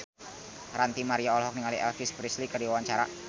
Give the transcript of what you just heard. Ranty Maria olohok ningali Elvis Presley keur diwawancara